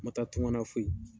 N na taa tungan na foye